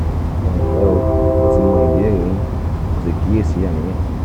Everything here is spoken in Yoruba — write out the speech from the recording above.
ẹnlẹ́ o mo ti wo ìbéèrè yín mo sì kíyèsí àníyàn yín